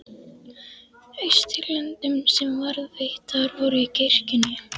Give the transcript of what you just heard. Austurlöndum sem varðveittar voru í kirkjunni.